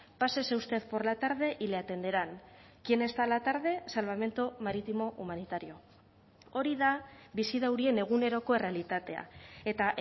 pásese usted por la tarde y le atenderán quien está a la tarde salvamento marítimo humanitario hori da bizi daurien eguneroko errealitatea eta